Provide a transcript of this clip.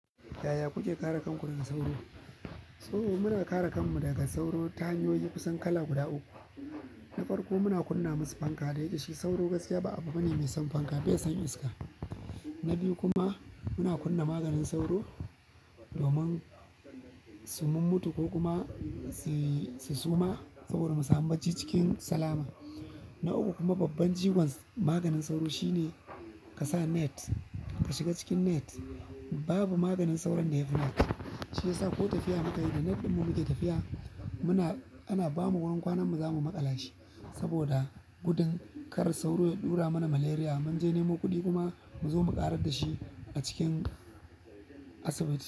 Yaya kuke kare kanku daga sauro? So muna kare kanmu daga sauro ta hanyoyi kusan kala guda uku. Na farkon muna kunna musu fanka saboda shi sauro ba abu bane da ke san fanka bai son iska na biyu kuma muna kunna maganin sauro domin su mun mutu ko kuma su suma saboda mu samu bacci cikin salama. Na uku kuma babban ciwon maganin sauro shine ka sa net, ka shiga cikin net. Babu maganin sauron da ya fi net, shi yasa ko tafiya muka yi da net ɗin mu muke tafiya. Muna, ana bamu wurin kwanan mu za mu maƙala shi saboda gudun kar sauro ya ɗura mana malaria, mun je nemo kuɗi kuma mu zo mu ƙarar da shi a cikin asibiti.